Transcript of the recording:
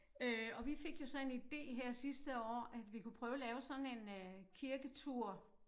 Øh og vi fik jo så en ide her sidste år at vi kunne prøve at lave sådan en øh kirketur